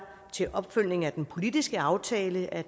til opfølgning af den politiske aftale af